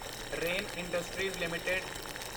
rain industries LTD